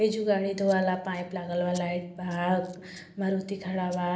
एहिजु गाडी धोवाला पाइप लागल बा लाइट बा मारुती खड़ा बा